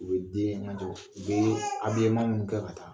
U bɛ den in lagon, u bɛ minnu kɛ ka taa.